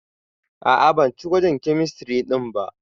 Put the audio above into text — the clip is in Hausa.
A'a, ban ci gwajin kemistiri ɗin ba.